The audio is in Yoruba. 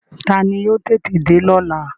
Taani yóò tètè dé lọ́la?